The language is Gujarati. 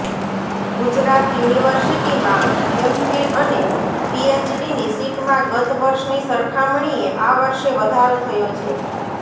ગુજરાત યુનિવર્સિટીમાં એમફિલ અને પીએચડીની સીટમાં ગત વર્ષની સરખામણીએ આ વર્ષે વધારો થયો છે